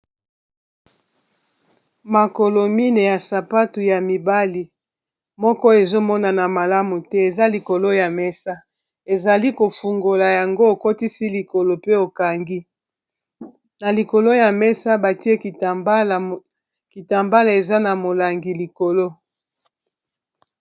makolo mine ya sapatu ya mibali moko ezomonana malamu te eza likolo ya mesa ezali kofungola yango okotisi likolo pe okangi na likolo ya mesa batie kitambala eza na molangi likolo